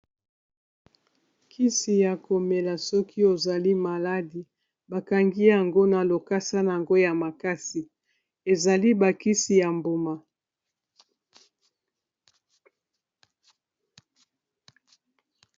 kisi ya komela soki ozali maladi bakangi yango na lokasa yango ya makasi ezali bakisi ya mbuma